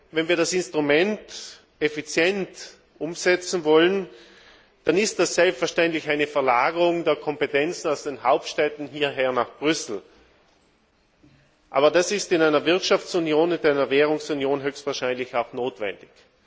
Wenn wir das Instrument effizient umsetzen wollen, dann ist das selbstverständlich eine Verlagerung der Kompetenzen von den Hauptstädten hierher nach Brüssel. Aber das ist in einer Wirtschafts und Währungsunion höchstwahrscheinlich auch notwendig.